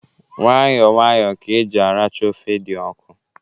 Nwayọ nwayọ ka eji aracha ofe dị ọkụ.